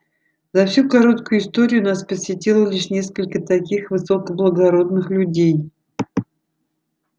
за всю короткую историю нас посетило лишь несколько таких высокоблагородных людей